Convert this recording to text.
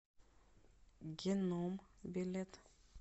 геном билет